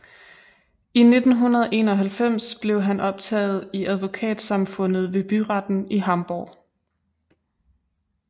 I 1991 blev han optaget i advokatsamfundet ved byretten i Hamborg